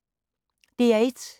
DR1